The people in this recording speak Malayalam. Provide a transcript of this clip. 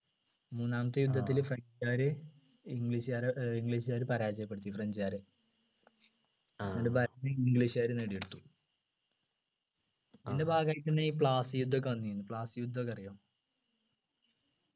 മൂന്നാമത്തെ യുദ്ധത്തില് french കാര് english കാരെ ഏർ english കാര് പരാജയപ്പെടുത്തി french കാരെ എന്നിട്ട് ഭരണം english കാര് നേടിയെടുത്തു ഇതിൻ്റെ ഭാഗമായിട്ടന്നെ ഈ പ്ലാസി യുദ്ധമൊക്കെ വന്നിന് പ്ലാസി യുദ്ധമൊക്കെ അറിയോ